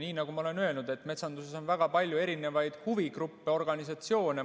Nii nagu ma olen öelnud, et metsanduses on väga palju erinevaid huvigruppe, organisatsioone.